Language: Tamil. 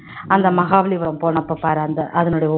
அந்த மகாபலிபுரம் போனப்ப பாரு அந்த அதனுடைய